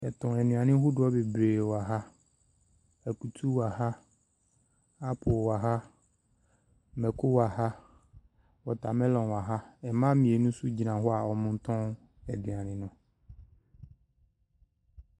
Yɛtɔn nnuane hodoɔ bebree wo ha. Ɛkutu wo ha, apple wo ha, mɛko wo ha, watermellon wo ha. Mmaa mmienu nso gyina ho a ɔretɔn aduane no.